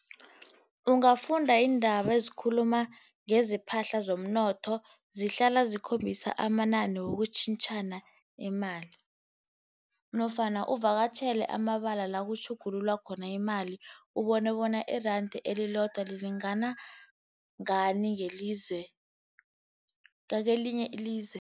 Ungafunda iindaba ezikhuluma ngezepahla, zomnotho. Zihlala zikhombisa amanani wokutjhintjhana imali. Nofana uvakatjhele amabala la kutjhugululwa khona imali, ubone bona iranda elilodwa lilingana ngani ngelizwe, ngakwelinye ilizwe.